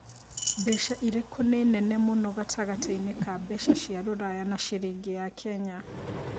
mbeca ĩrikũ nĩ Nene mũno gatagatiinĩ ka mbeca cia rũraya na ciringi ya Kenya